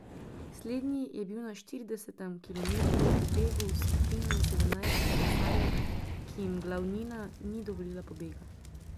Slednji je bil na štiridesetem kilometru v begu s skupino sedemnajstih kolesarjev, ki jim glavnina ni dovolila pobega.